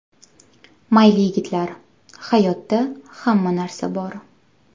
Mayli yigitlar, hayotda hamma narsa bor.